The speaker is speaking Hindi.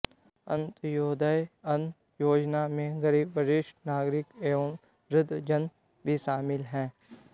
अंत्योदय अन्न योजना में गरीब वरिष्ठ नागरिक एवं वृद्धजन भी शामिल हैं